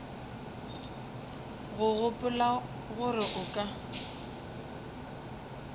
o gopola gore o ka